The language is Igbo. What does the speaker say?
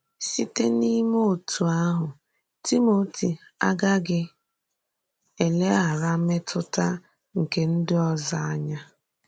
Sìtè n’ímè òtú àhụ, Timoti agàghị eleghàrà mètùtà nke ndị òzò ànyà.